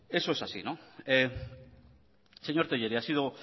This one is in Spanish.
bueno pues eso es así señor tellería ha sido